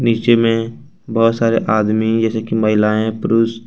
नीचे में बहुत सारे आदमी जैसे कि महिलाएं पुरुष--